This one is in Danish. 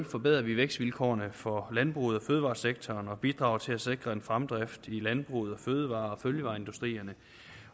forbedrer vi vækstvilkårene for landbruget og fødevaresektoren og bidrager til at sikre en fremdrift i landbruget og i fødevaresektoren